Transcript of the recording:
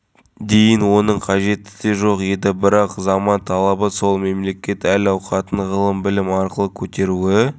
отандық туризмнің тамырына қан жүгіртті десек артық айтқанымыз емес әсіресе шыңғыс хан мен қабанбай батыр ат